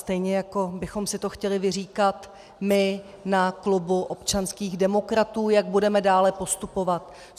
Stejně jako bychom si to chtěli vyříkat my na klubu občanských demokratů, jak budeme dále postupovat.